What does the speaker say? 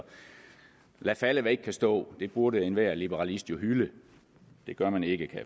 lad falde hvad ikke kan stå det burde enhver liberalist jo hylde det gør man ikke kan